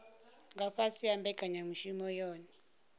nga fhasi ha mbekanyamushumo yohe